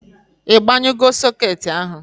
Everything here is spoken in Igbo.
I banyugo soket ahụ?